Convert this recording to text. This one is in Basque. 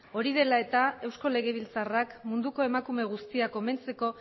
hori dela eta eusko legebiltzarrak munduko emakume guztiak omentzeko